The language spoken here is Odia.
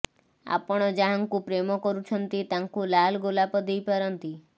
ଆପଣ ଯାହାଙ୍କୁ ପ୍ରେମ କରୁଛନ୍ତି ତାଙ୍କୁ ଲାଲ ଗୋଲାପ ଦେଇ ପାରନ୍ତି